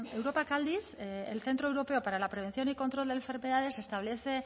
europak aldiz el centro europeo para la prevención y control de enfermedades establece